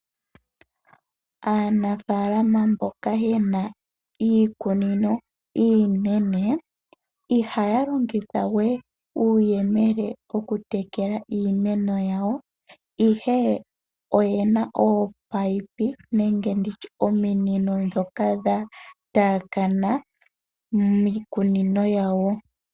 Aanafaalama mboka yena iikunino iinene ihaya longithawe uuyemele okutekela iimeno yawo ihe oyena ominino dhoka dhataakana miikunino yawo.